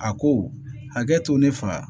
A ko hakɛ to ne faga